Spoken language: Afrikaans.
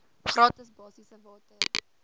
gratis basiese water